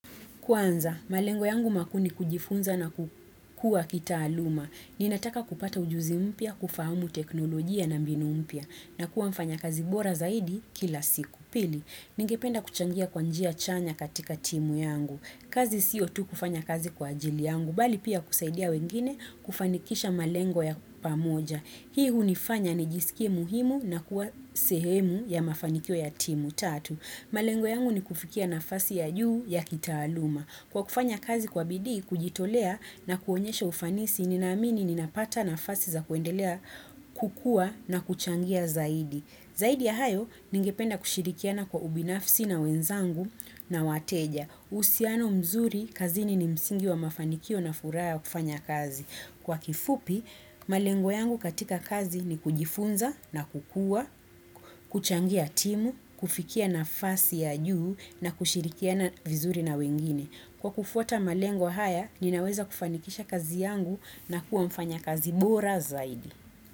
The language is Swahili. Kwanza, malengo yangu makuu kujifunza na kukua kitaaluma. Ninataka kupata ujuzi mpya, kufahamu teknolojia na mbinu mpya. Na kuwa mfanyakazi bora zaidi kila siku. Pili, ningependa kuchangia kwa njia chanya katika timu yangu. Kazi sio tu kufanya kazi kwa ajili yangu. Bali pia kusaidia wengine kufanikisha malengo ya pamoja. Hii hunifanya nijisikie muhimu na kuwa sehemu ya mafanikio ya timu. Malengo yangu ni kufikia nafasi ya juu ya kitaaluma. Kwa kufanya kazi kwa bidii, kujitolea na kuonyesha ufanisi, ninaamini ninapata nafasi za kuendelea kukua na kuchangia zaidi. Zaidi ya hayo, ningependa kushirikiana kwa ubinafsi na wenzangu na wateja. Uhusiano mzuri, kazini ni msingi wa mafanikio na furaha ya kufanya kazi. Kwa kifupi, malengo yangu katika kazi ni kujifunza na kukua, kuchangia timu, kufikia nafasi ya juu na kushirikiana vizuri na wengine. Kwa kufuata malengo haya, ninaweza kufanikisha kazi yangu na kuwa mfanyakazi bora zaidi.